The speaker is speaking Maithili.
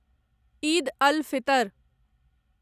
ईद अल फितर